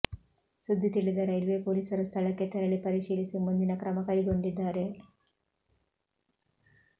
ಸುದ್ದಿ ತಿಳಿದ ರೈಲ್ವೆ ಪೊಲೀಸರು ಸ್ಥಳಕ್ಕೆ ತೆರಳಿ ಪರಿಶೀಲಿಸಿ ಮುಂದಿನ ಕ್ರಮ ಕೈಗೊಂಡಿದ್ದಾರೆ